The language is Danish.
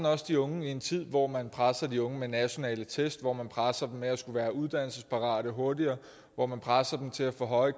også de unge i en tid hvor man presser de unge med nationale test hvor man presser dem med at skulle være uddannelsesparate og hurtigere hvor man presser dem til at få høje